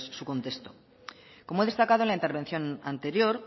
su contexto como he destacado en la intervención anterior